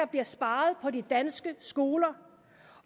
bliver sparet på de danske skoler